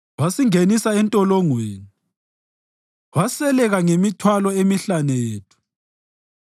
Wasingenisa entolongweni waseleka ngemithwalo emihlane yethu.